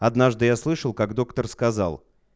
однажды я слышал как доктор сказал